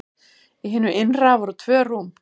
Í hinu innra voru tvö rúm.